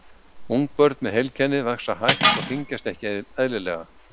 Ungbörn með heilkennið vaxa hægt og þyngjast ekki eðlilega.